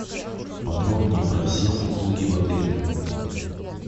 подробнее про все услуги в отеле